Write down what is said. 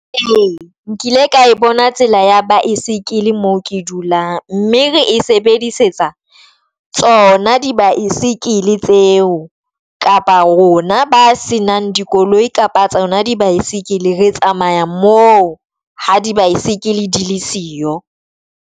Nkile ka e bona tsela ya baesekele mo ke dulang mme re e sebedisetsa tsona di baesekele tseo kapa rona ba se nang dikoloi kapa tsona di bicycle re tsamaya mo ha di baesekele di le siyo.